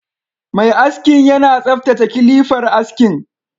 Mai askin yana tsaftace kilifar askin